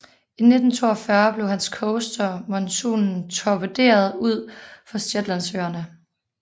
I 1942 blev hans coaster Monsunen torpederet ud for Shetlandsøerne